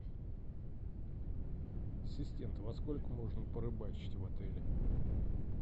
ассистент во сколько можно порыбачить в отеле